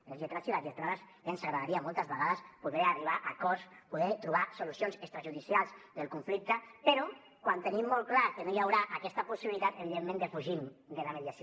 als lletrats i a les lletrats ja ens agradaria moltes vegades poder arribar a acords poder trobar solucions extrajudicials del conflicte però quan tenim molt clar que no hi haurà aquesta possibilitat evidentment defugim la mediació